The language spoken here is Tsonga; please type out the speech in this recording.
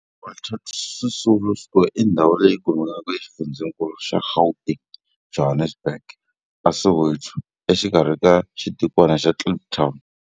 Walter Sisulu Square i ndhawu leyi kumekaka exifundzheninkulu xa Gauteng, Johannesburg, a Soweto, exikarhi ka xitikwana xa Kliptown.